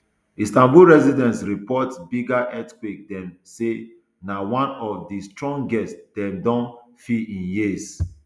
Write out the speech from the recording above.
istanbul residents report bigger earthquake dem say na one of di strongest dem don feel in years